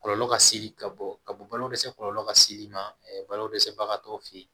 Kɔlɔlɔ ka seli ka bɔ ka bɔ balo dɛsɛ kɔlɔlɔ la seli ma balo dɛsɛbagatɔw fe ye